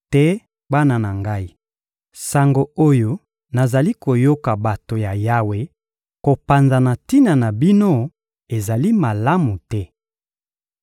Te, bana na ngai! Sango oyo nazali koyoka bato ya Yawe kopanza na tina na bino ezali malamu te.